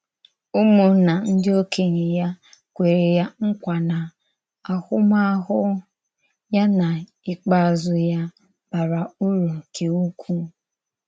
Ụ́mụ̀nnà ndí òkènye ya kwèrè ya nkwa na àhụ̀mahụ̀ ya na ìkpeazụ ya bàrà ùrù nke ukwu.